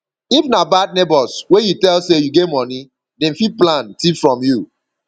if na bad neighbors wey you tell say you get money dem fit plan thief from you